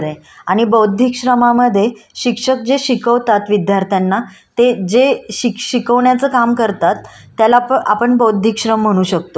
त्याला प आपण बौद्धिक श्रम म्हणू शकतो. कारण ते दोघेही आपल्या बुद्धीला कष्ट देत असतात. शिक्षक शिकवण्याचं कष्ट घेत असतात मुलं ते त्यांच्या